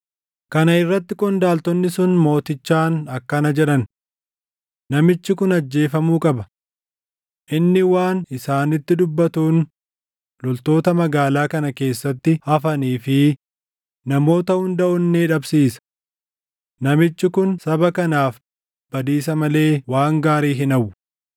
Kana irratti qondaaltonni sun mootichaan akkana jedhan; “Namichi kun ajjeefamuu qaba. Inni waan isaanitti dubbatuun loltoota magaalaa kana keessatti hafanii fi namoota hunda onnee dhabsiisa. Namichi kun saba kanaaf badiisa malee waan gaarii hin hawwu.”